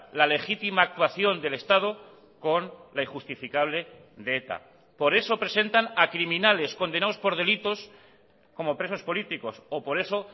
la legítima actuación del estado con la injustificable de eta por eso presentan a criminales condenados por delitos como presos políticos o por eso